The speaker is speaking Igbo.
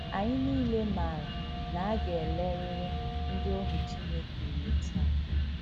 Anyị nile maara na a ga - elerịrị ndị ohu Chineke ule taa.